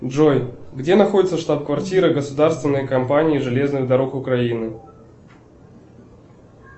джой где находится штаб квартира государственной компании железных дорог украины